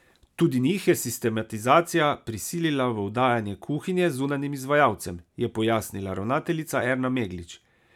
Tudi njih je sistematizacija prisilila v oddajanje kuhinje zunanjim izvajalcem, je pojasnila ravnateljica Erna Meglič.